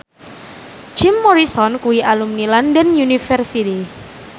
Jim Morrison kuwi alumni London University